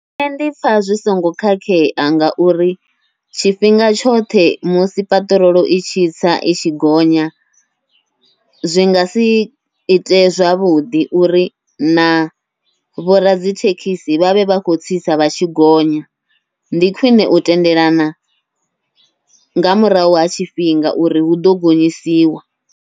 Nṋe ndipfha zwi songo khakhea, ngauri tshifhinga tshoṱhe musi paṱirolo i tshi tsa i tshi gonya, zwi ngasi ite zwavhuḓi uri na vhoradzithekhisi vhavhe vha khou tsitsa vha tshi gonya. Ndi khwiṋe u tendelana nga murahu ha tshifhinga uri huḓo gonyisiwa.